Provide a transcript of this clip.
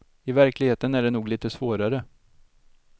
I verkligheten är det nog lite svårare.